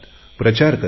प्रचार करतात